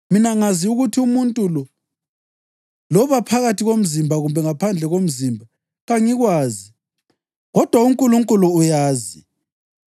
Mina ngazi ukuthi umuntu lo loba phakathi komzimba kumbe ngaphandle komzimba, kangikwazi, kodwa uNkulunkulu uyazi,